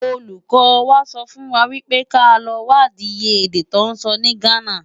Ólúkò wá sòfúnwá wipé ká lò wádi iyé èdè tò nsò ni Ghana.